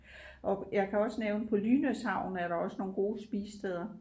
Og jeg kan også nævne på Lynæs havn er der også nogle gode spisesteder